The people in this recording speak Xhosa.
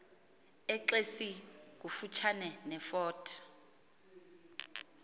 exesi kufutshane nefort